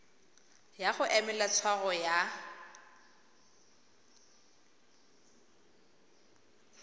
ya go emela tshwaro ya